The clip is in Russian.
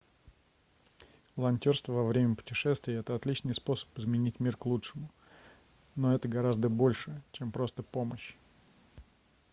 волонтёрство во время путешествий это отличный способ изменить мир к лучшему но это гораздо большее чем просто помощь